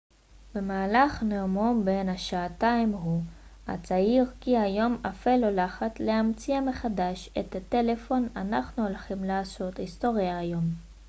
במהלך נאומו בן השעתיים הוא הצהיר כי היום אפל הולכת להמציא מחדש את הטלפון אנחנו הולכים לעשות היסטוריה היום